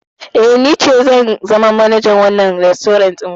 Eh, ni ce zan zama manajar wannan rastorant ɗin.